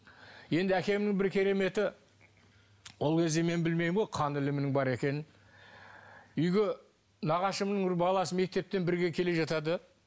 енді әкемнің бір кереметі ол кезде мен білмеймін ғой қан ілімінің бар екенін үйге нағашымның бір баласы мектептен бірге келе жатады